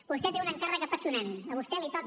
vostè té un encàrrec apassionant a vostè li toca